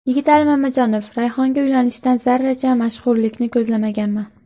Yigitali Mamajonov: Rayhonga uylanishdan zarracha mashhurlikni ko‘zlamaganman.